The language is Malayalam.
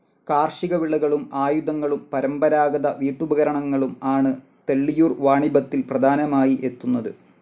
കാർഷിക വിളകളും ആയുധങ്ങളും പരമ്പരാഗത വീട്ടുപകരണങ്ങളും ആണ് തെള്ളിയൂർ വാണിഭത്തിൽ പ്രധാനമായി എത്തുന്നത്.